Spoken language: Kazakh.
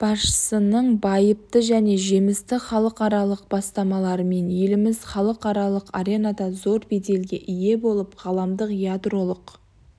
басшысының байыпты және жемісті халықаралық бастамаларымен еліміз халықаралық аренада зор беделге ие болып ғаламдық ядролық